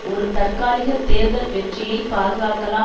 ஒரு தற்காலிக தேர்தல் வெற்றியை பாதுகாக்கலாம்